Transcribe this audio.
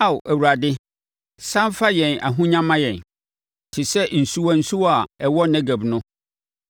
Ao Awurade, sane fa yɛn ahonya ma yɛn, te sɛ nsuwa nsuwa a ɛwɔ Negeb no.